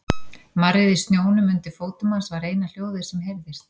Marrið í snjónum undir fótum hans var eina hljóðið sem heyrðist.